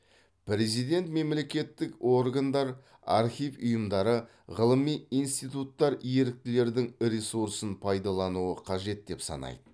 президент мемлекеттік органдар архив ұйымдары ғылыми институттар еріктілердің ресурсын пайдалануы қажет деп санайды